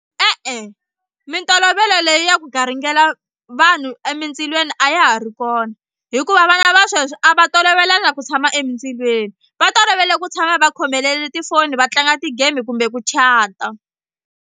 E-e mintolovelo leyi ya ku garingela vanhu emindzilweni a ya ha ri kona hikuva vana va sweswi a va tolovelanga ku tshama emindzilweni va tolovele ku tshama va khomelele tifoni va tlanga ti game kumbe ku chat-a.